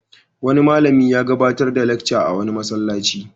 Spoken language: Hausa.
Wani malami ya gabatar da lacca a wani masallaci.